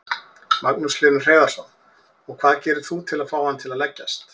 Magnús Hlynur Hreiðarsson: Og hvað gerir þú til að fá hann til að leggjast?